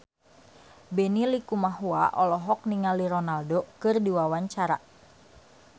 Benny Likumahua olohok ningali Ronaldo keur diwawancara